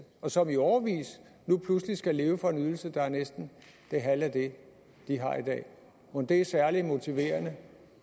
og som i årevis nu pludselig skal leve for en ydelse der er næsten det halve af det de har i dag mon det er særlig motiverende